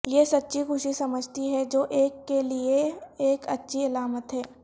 یہ سچی خوشی سمجھتی ہے جو ایک کے لئے ایک اچھی علامت ہے